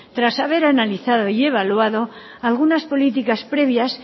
tras haber analizado y evaluado algunas políticas previas